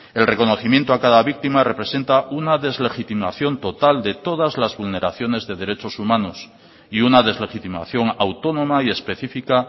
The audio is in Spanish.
el reconocimiento a cada víctima representa una deslegitimación total de todas las vulneraciones de derechos humanos y una deslegitimación autónoma y específica